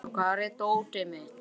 Sæþór, hvar er dótið mitt?